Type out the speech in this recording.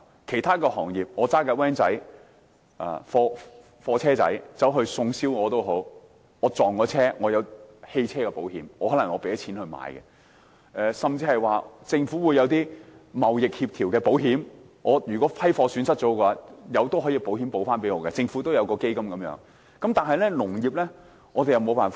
其他行業，例如小型貨車司機送燒鵝，一旦撞車，有汽車保險賠償，雖然保險費得自付；政府也提供一些貿易相關保險，遇上貨物損失，可透過政府基金取得保險賠償。